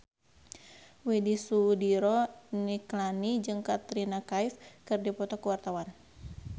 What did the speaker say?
Widy Soediro Nichlany jeung Katrina Kaif keur dipoto ku wartawan